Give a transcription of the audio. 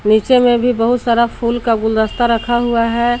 पीछे में भी बहुत सारा फूल का गुलदस्ता रखा हुआ है।